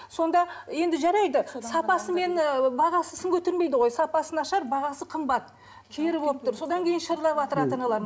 сонда енді жарайды сапасы мен ы бағасы сын көтермейді ғой сапасы нашар бағасы қымбат кері болып тұр содан кейін шырылдаватыр ата аналар